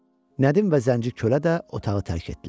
Nədim və Zənci Kölə də otağı tərk etdilər.